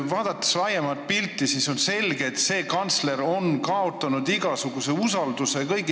Vaadates laiemat pilti, on selge, et see kantsler on kõigi silmis igasuguse usalduse kaotanud.